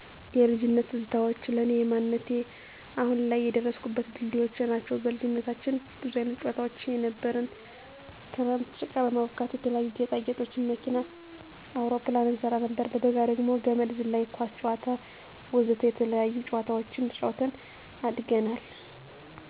የልጅነት ትዛታዋች ለኔ የማንነቴ አሁን ላይ የደረስኩበት ድልድዮቸ ናቸው። በልጅነታችን ብዙ አይነት ጨዋታዋች ነበሩን ክረምት ጭቃ በማቡካት የተለያዪ ጌጣ ጌጦችን መኪና አውሮፕላን እንሰራ ነበር። በበጋ ደግሞ ገመድ ዝላይ :ኳስ ጨወታ ...ወዘተ የተለያዪ ጨወዋታወችን ተጫውተን አድገናል።